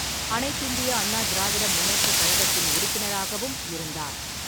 அனைத்திந்திய அண்ணா திராவிட முன்னேற்றக் கழகத்தின் உறுப்பினராகவும் இருந்தார்.